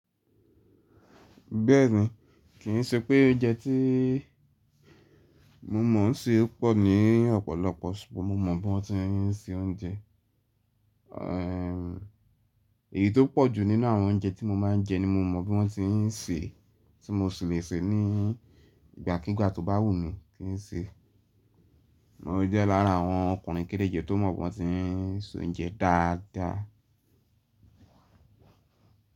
Bẹ́ẹ̀ni, kì í ṣe pé oúnjẹ tí mo mọ̀ ọ́n ṣè pọ̀ ní ọ̀pọ̀lọpọ̀ sùgbọ́n mo mọ̀ bí wọ́n ti ń se oúnjẹ. Èyí tó pọ̀jù nínú àwọn oúnjẹ tí mo máa ń jẹ ni mo mọ̀ bí wọ́n ti ń sèé, tí mo sì lè sèé ní ìgbàkígbà tó bá wù mí kí n sèé. Mo jẹ́ lára àwọn ọkùnrin kéréje tó mọ̀ bí wọ́n ti ń soúnjẹ dáadáa.